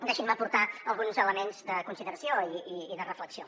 deixin me aportar alguns elements de consideració i de reflexió